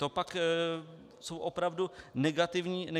To pak jsou opravdu negativní věci.